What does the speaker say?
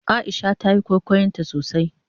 Aisha tayi kwaikwayon tasosai.